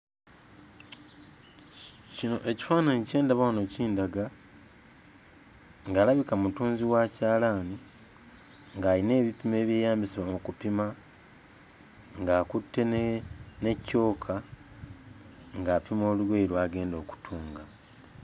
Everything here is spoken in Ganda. Kino ekifaananyi kye ndaba wano kindaga ng'alabika mutunzi wa kyalaani ng'alina ebipimo ebyeyambisibwa mu kupima ng'akutte ne ne ccooka ng'apima olugoye lw'agenda okutunga.